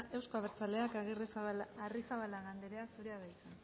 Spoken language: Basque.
euzko abertzaleak arrizabalaga andrea zurea da hitza